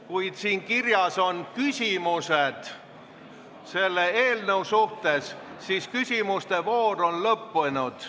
Kui siin kirjas on küsimused selle eelnõu kohta, siis küsimuste voor on lõppenud.